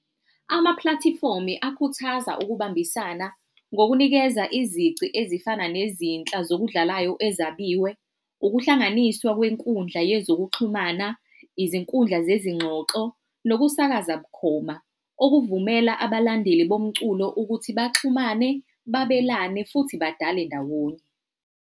Ama-platform-i akhuthaza ukubambisana ngokunikeza izici ezifana nezinhla zokudlalayo ezabiwe, ukuhlanganiswa kwenkundla yezokuxhumana, izinkundla zezingxoxo, nokusakaza bukhoma. Okuvumela abalandeli bomculo ukuthi baxhumane, babelane futhi badale ndawonye.